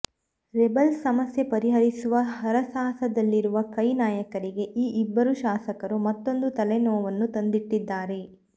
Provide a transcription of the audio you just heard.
rebels ಸಮಸ್ಯೆ ಪರಿಹರಿಸುವ ಹರಸಾಹದಲ್ಲಿರುವ ಕೈ ನಾಯಕರಿಗೆ ಈ ಇಬ್ಬರು ಶಾಸಕರು ಮತ್ತೊಂದು ತಲೆನೋವನ್ನು ತಂದಿಟ್ಟಿದ್ದಾರೆ